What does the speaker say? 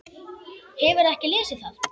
Hefurðu ekki lesið það!